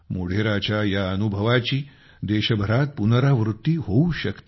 मोढेराच्या या अनुभवाची देशभरात पुनरावृत्ती होऊ शकते